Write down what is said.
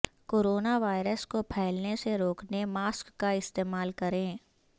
corona virus کو پھیلنے سے روکنے ماسک کا استعمال کریں